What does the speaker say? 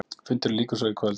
Fundinum lýkur svo í kvöld.